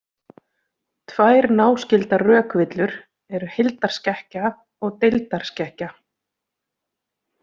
Tvær náskyldar rökvillur eru heildarskekkja og deildarskekkja.